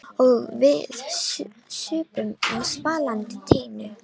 Og við supum á svalandi teinu.